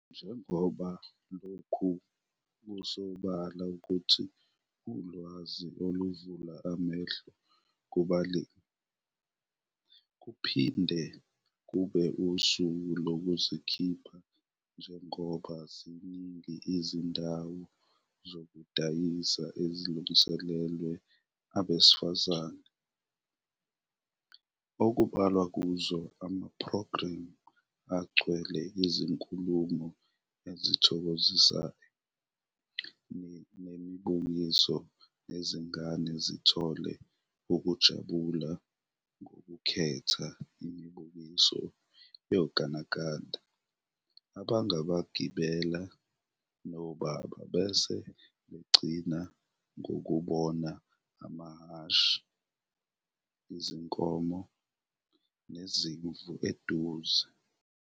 Njengoba lokhu kusobala ukuthi ulwazi oluvula amehlo kubalimi, kuphinde kube usuku lokuzikhipha njengoba ziningi izindawo zokudayisa ezilungiselelwe abesifazane, okubalwa kuzo amaphrogremu agcwele izinkulumo ezithokozisayo nemibukiso nezingane zithola ukujabuliswa ngokukhetha imibukiso yogandganda abangawagibela noBaba bese begcina ngokubona amahhashi, izinkomo, nezimvu eduze.